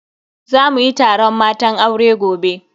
Za muyi taron matan aure gobe.